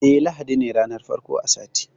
Eh, ladi ne ranar farko a sati.